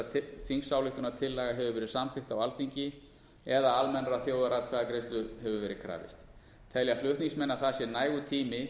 að þingsályktunartillaga hefur verið samþykkt á alþingi eða almennrar þjóðaratkvæðagreiðslu hefur verið krafist telja flutningsmenn að það sé nægur tími